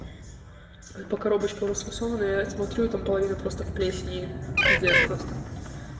ой по коробочкам расфасована я и смотрю там половина просто в плесени и пиздец просто